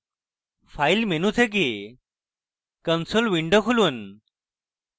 file menu থেকে console window খুলুন